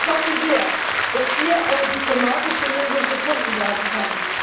Ich hoffe sehr, dass hier eine diplomatische Lösung gefunden werden kann.